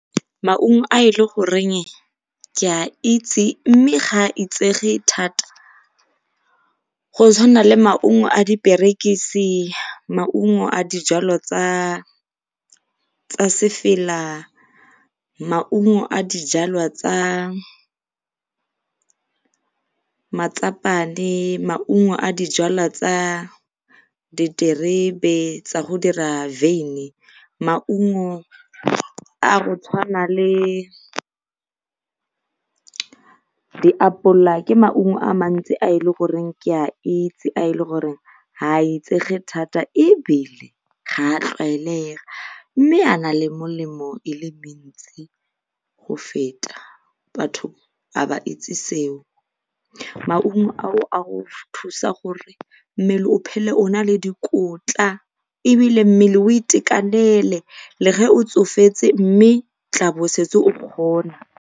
Maungo a e le goreng ke a itse mme ga a itsege thata go tshwana le maungo a diperekise, maungo a dijalwa tsa tsa sefela, maungo a dijalwa tsa matlapane, maungo a dijalwa tsa diterebe tsa go dira , maungo a go tshwana le diapola, ke maungo a mantsi a e le goreng ke a itse, a e le goreng ga a itsege thata ebile ga a tlwaelega mme a na le melemo e le go feta batho ga ba itse seo. Maungo ao a go thusa gore mmele o phele o na e dikotla ebile mmele o itekanele le ge o tsofetse mme o tlabo o setse o kgona.